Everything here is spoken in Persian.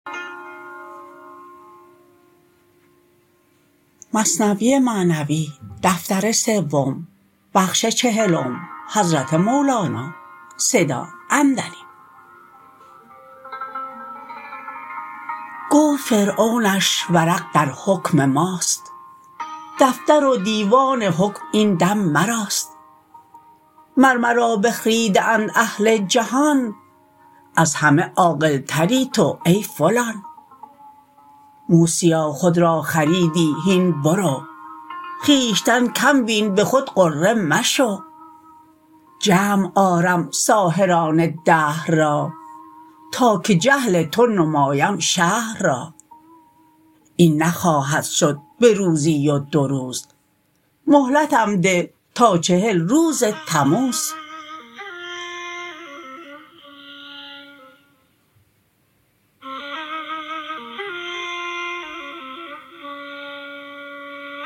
گفت فرعونش ورق درحکم ماست دفتر و دیوان حکم این دم مراست مر مرا بخریده اند اهل جهان از همه عاقلتری تو ای فلان موسیا خود را خریدی هین برو خویشتن کم بین به خود غره مشو جمع آرم ساحران دهر را تا که جهل تو نمایم شهر را این نخواهد شد به روزی و دو روز مهلتم ده تا چهل روز تموز